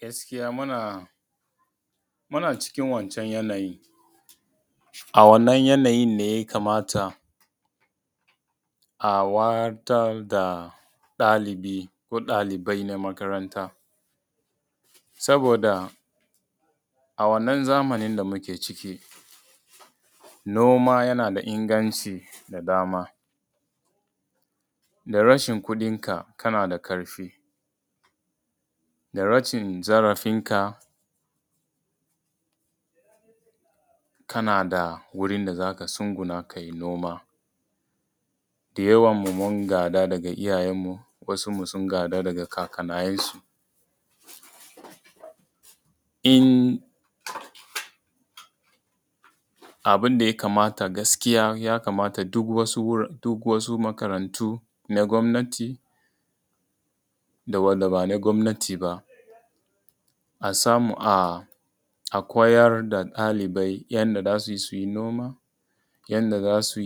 Gaskiya muna cikin wancan yanayin. A wannan yanayin ne ya kamata a wayar da ɗalibi ko ɗaliban makaranta. Saboda a wannan zamanin da muke ciki, noma yana da inganci da dama da rashin kuɗinka kana da ƙarfi da rashin zarafinka kana da wurin da za ka tsugunna ka yi noma. Da yawan mu mun gada daga iyayen mu, wasun mu sun gada daga kakanninsu. Abun da ya kamata gaskiya ya kamata duk wasu makarantu na gwamnati da wanda bana gwamnati ba a samu a koyar da ɗalibai yanda za su yi su yi noma, yanda za su